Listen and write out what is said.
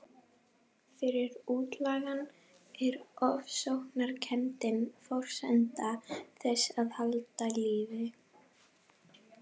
Fyrir útlagann er ofsóknarkenndin forsenda þess að halda lífi.